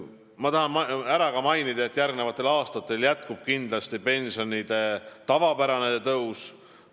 Ma tahan ka märkida, et järgmistel aastatel jätkub kindlasti pensionide tavapärane tõus.